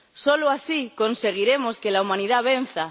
Solo así conseguiremos que la humanidad venza.